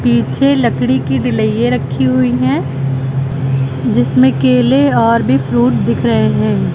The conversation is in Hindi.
पीछे लकड़ी की डीलिये रखी हुई हैं जिसमें केले और भी फ्रूट दिख रहे हैं।